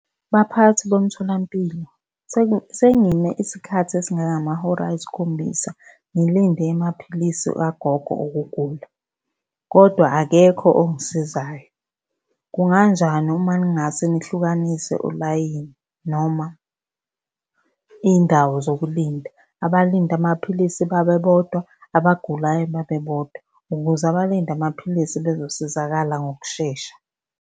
Baphathi bomtholampilo sengime isikhathi esingangamahora ayisikhombisa ngilinde amaphilisi kagogo okugula, kodwa akekho ongisizayo. Kunganjani uma ningase nihlukanise ulayini noma iy'ndawo zokulinda? Abalinde amaphilisi babe bodwa, abagulayo babe bodwa, ukuze abalinde amaphilisi bezosizakala ngokushesha.